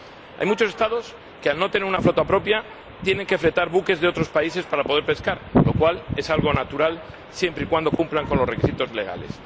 Hay muchos Estados que, al no tener una flota propia, tienen que fletar buques de otros países para poder pescar, lo cual es algo natural, siempre y cuando cumplan con los requisitos legales.